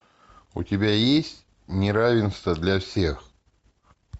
у тебя есть неравенство для всех